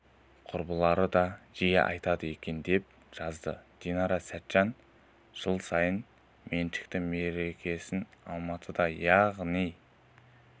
құрбылары да жиі айтады екен деп жазады динара сәтжан жыл сайын меншікті мерекесін алматыда яғни